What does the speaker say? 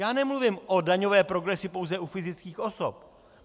Já nemluvím o daňové progresi pouze u fyzických osob.